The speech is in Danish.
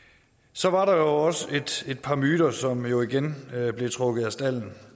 så var der også et par myter som jo igen blev trukket af stalden og